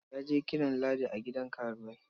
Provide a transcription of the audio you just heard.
Ya je kiran Ladi a gidan karuwai.